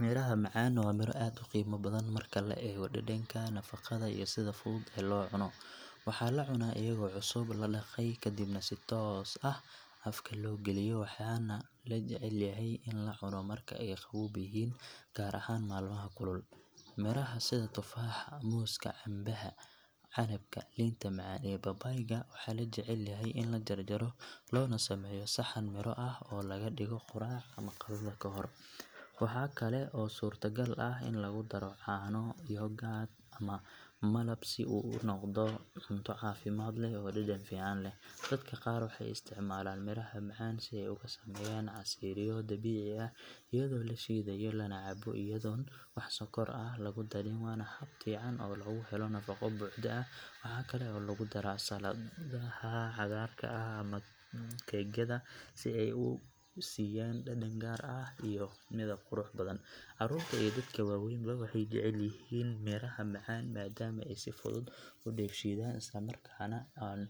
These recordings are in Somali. Midhaha macaan waa miro aad u qiimo badan marka la eego dhadhanka, nafaqada iyo sida fudud ee loo cuno. Waxaa la cunaa iyagoo cusub, la dhaqay kadibna si toos ah afka loo galiyo waxaana la jecel yahay in la cuno marka ay qabow yihiin gaar ahaan maalmaha kulul. Midho sida tufaaxa, muuska, cambeha, canabka, liinta macaan iyo babayga waxaa la jecel yahay in la jarjaro loona sameeyo saxan midho ah oo laga dhigo quraac ama qadada ka hor. Waxaa kale oo suurtogal ah in lagu daro caano, yogurt ama malab si uu u noqdo cunto caafimaad leh oo dhadhan fiican leh. Dadka qaar waxay isticmaalaan midhaha macaan si ay uga sameeyaan casiiryo dabiici ah iyadoo la shiidayo lana cabbo iyadoon wax sonkor ah lagu darin waana hab fiican oo lagu helo nafaqo buuxda. Waxaa kale oo lagu daraa saladaha cagaarka ah ama keegyada si ay u siiyaan dhadhan gaar ah iyo midab qurux badan. Carruurta iyo dadka waaweynba waxay jecel yihiin midhaha macaan maadaama ay si fudud u dheefshiidaan islamarkaana aan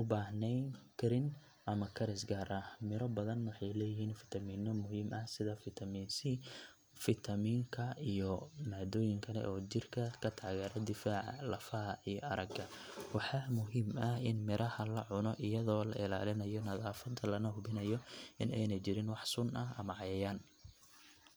u baahnayn karin ama karis gaar ah. Midho badan waxay leeyihiin faytamiinno muhiim ah sida fitamiin sii, fitamiin ka iyo maadooyin kale oo jirka ka taageera difaaca, lafaha, iyo aragga. Waxaa muhiim ah in midhaha la cuno iyadoo la ilaalinayo nadaafadda lana hubiyo in aanay jirin wax sun ah ama cayayaan .